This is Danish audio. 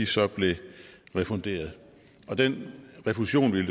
så blev refunderet og den refusion ville